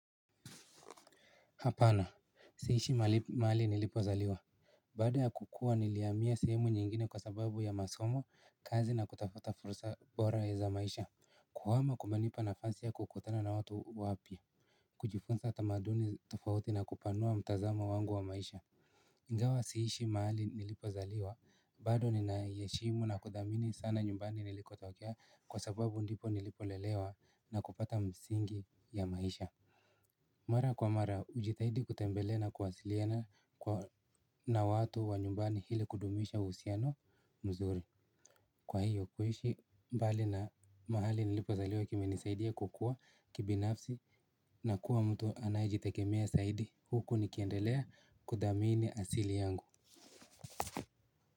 Hapana, siishi maali nilipozaliwa. Baada ya kukua niliamia sehemu nyingine kwa sababu ya masomo, kazi na kutafuta fursa bora za maisha. Kuhama kumenipa nafasi ya kukutana na watu wapya. Kujifunza tamaduni tofauti na kupanua mtazamo wangu wa maisha ingawa siishi mahali nilipozaliwa, bado ninaieshimu na kudhamini sana nyumbani nilikotokea kwa sababu ndipo nilipolelewa na kupata msingi ya maisha. Mara kwa mara, ujitahidi kutembelea na kwasiliana na watu wa nyumbani hili kudumisha husiano mzuri. Kwa hiyo kuishi mbali na mahali nilipozaliwa kimenisaidia kukua kibinafsi na kuwa mtu anayejitegemea saidi huku nikiendelea kudhamini asili yangu.